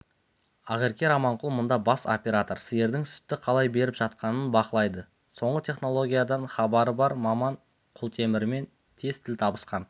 ақерке раманқұл мұнда бас оператор сиырдың сүтті қалай беріп жатқанын бақылайды соңғы технологиядан хабары бар маман құлтемірмен тез тіл табысқан